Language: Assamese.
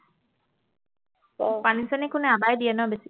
পানী চানি কোনে আপাই দিয়ে ন বেছি